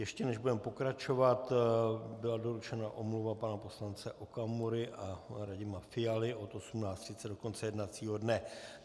Ještě než budeme pokračovat, byla doručena omluva pana poslance Okamury a Radima Fialy od 18.30 do konce jednacího dne.